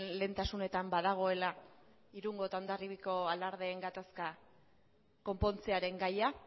lehentasunetan badagoela irungo eta hondarribiko alardeen gatazkak konpontzearen gaia